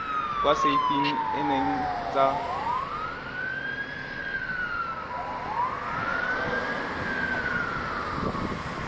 kwa setei eneng sa mapodisi